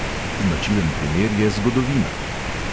Značilen primer je zgodovina.